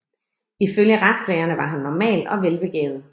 Ifølge retslægerne var han normal og velbegavet